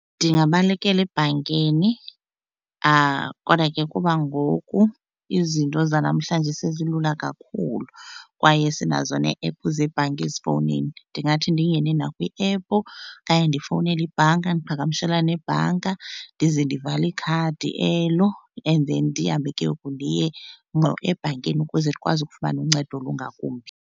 Ndingabalekela ebhankini kodwa ke kuba ngoku izinto zanamhlanje sezilula kakhulu kwaye sinazo nee-ephu zebhanki ezifowunini ndingathi ndingene nakwiephu okanye ndifowunele ibhanka ndiqhagamshelane nebhanka ndize ndivale ikhadi elo. And then ndihambe ke ngoku ndiye ebhankini ukuze ndikwazi ukufumana uncedo olungakumbi.